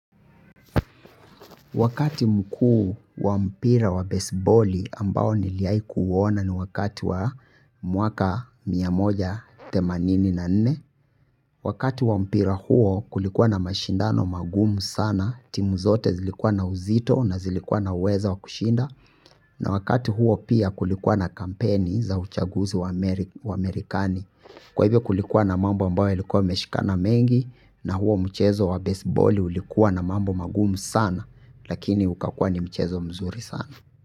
Wakati mkuu wa mpira wa baseballi ambao niliai kuona ni wakati wa mwaka miamoja themanini na nne. Wakati wa mpira huo kulikuwa na mashindano magumu sana. Timu zote zilikuwa na uzito na zilikuwa na uweza wa kushinda. Na wakati huo pia kulikuwa na kampeni za uchaguzi wa merikani. Kwahivyo kulikuwa na mambo ambayo yalikuwa yameshikana mengi. Na huo mchezo wa baseballi ulikuwa na mambo magumu sana. Lakini ukakuwa ni mchezo mzuri sana.